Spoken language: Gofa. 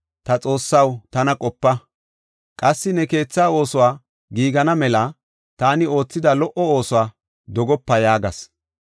“Ta Xoossaw tana qopa; qassi ne keetha oosoy giigana mela taani oothida lo77o oosuwa dogopa” yaagas.